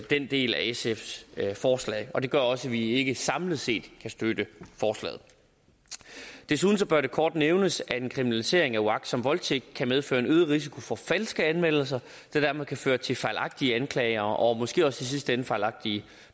den del af sfs forslag og det gør også at vi ikke samlet set kan støtte forslaget desuden bør det kort nævnes at en kriminalisering af uagtsom voldtægt kan medføre en øget risiko for falske anmeldelser og dermed kan føre til fejlagtige anklager og måske også i sidste ende fejlagtige